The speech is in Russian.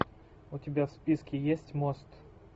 у тебя в списке есть мост